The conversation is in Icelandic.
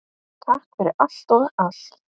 Takk fyrir allt og allt!